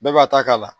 Bɛɛ b'a ta k'a la